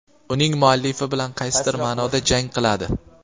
uning muallifi bilan qaysidir maʼnoda jang qiladi.